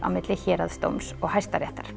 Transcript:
á milli héraðsdóms og Hæstaréttar